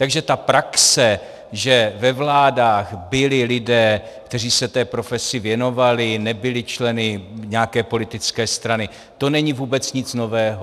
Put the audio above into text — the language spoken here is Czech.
Takže ta praxe, že ve vládách byli lidé, kteří se té profesi věnovali, nebyli členy nějaké politické strany, to není vůbec nic nového.